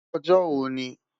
Ojo wo ni?